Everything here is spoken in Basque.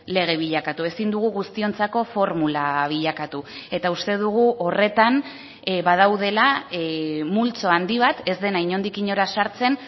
lege bilakatu ezin dugu guztiontzako formula bilakatu eta uste dugu horretan badaudela multzo handi bat ez dena inondik inora sartzen